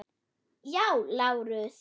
Já, Lárus!